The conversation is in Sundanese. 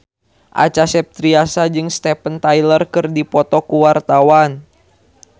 Acha Septriasa jeung Steven Tyler keur dipoto ku wartawan